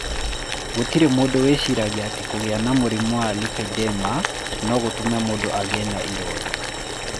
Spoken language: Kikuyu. Gũtirĩ mũndũ wĩciragia atĩ kũgĩa na mũrimũ wa lipedema no gũtũme mũndũ agĩe na ironda.